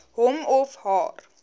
hom of haar